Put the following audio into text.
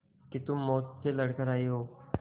कि तुम मौत से लड़कर आयी हो